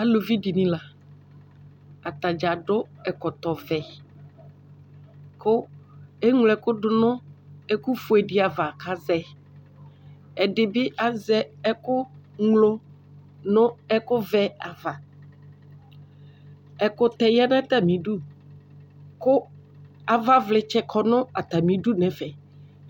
Alʋvi dini la atadza adʋ ɛkɔtɔvɛ kʋ eŋlo ɛkʋ dʋnʋ ɛkʋfue di ava kʋ azɛ ɛdibi azɛ ɛkʋŋlo nʋ ɛkʋvɛ ava ɛkʋtɛ yanʋ atami idʋ kʋ avaclitsɛ kɔnʋ atami idʋ nʋ ɛfɛ